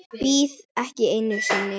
Bíð ekki einu sinni.